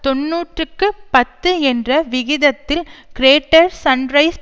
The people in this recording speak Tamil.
தொன்னூற்றுக்கு பத்து என்ற விகிதத்தில் கிரேட்டர் சன்ரைஸ்